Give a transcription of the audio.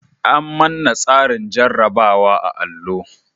An manna tsarin jarabawa a'allo.